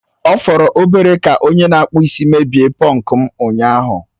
Ọ fọrọ obere ka onye na-akpụ isi mebie pọnku m ụnyaahụ